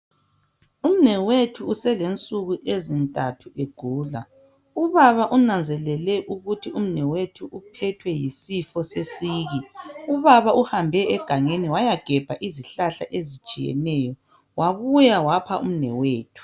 Umnewethu uselensuku ezintathu egula. Ubaba unanzelele ukuthi umnewethu uphethwe yisifo sesiki .Ubaba uhambe egangeni waya gebha izihlahla ezitshiyeneyo wabuya wapha umnewethu.